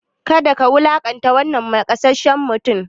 Kada ka wulaƙanta wannan nakasasshen mutumin!